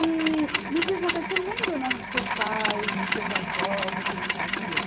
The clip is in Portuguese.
E me diz uma coisa, você lembra o nome dos seus pais, dos seus avós e o que eles faziam?